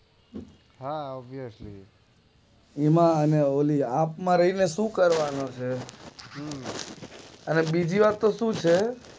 હા ઓબીએશલી એમાં ને ઓલી આપ માં રાય ને શું કરવાનો છે અને બીજી વાત તો શું છે.